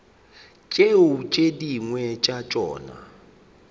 tšeo tše dingwe tša tšona